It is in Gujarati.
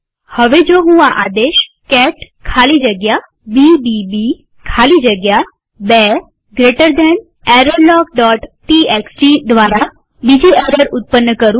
હવે જો હું આ આદેશ કેટ ખાલી જગ્યા બીબીબી ખાલી જગ્યા 2 જમણા ખૂણાવાળો કૌંસ errorlogટીએક્સટી દ્વારા બીજી એરર ઉત્પન્ન કરું